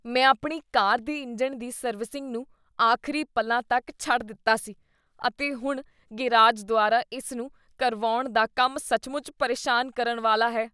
ਮੈਂ ਆਪਣੀ ਕਾਰ ਦੇ ਇੰਜਣ ਦੀ ਸਰਵਿਸਿੰਗ ਨੂੰ ਆਖਰੀ ਪਲਾਂ ਤੱਕ ਛੱਡ ਦਿੱਤਾ ਸੀ, ਅਤੇ ਹੁਣ ਗ਼ੈਰਾਜ ਦੁਆਰਾ ਇਸ ਨੂੰ ਕਰਵਾਉਣ ਦਾ ਕੰਮ ਸੱਚਮੁੱਚ ਪਰੇਸ਼ਾਨ ਕਰਨ ਵਾਲਾ ਹੈ।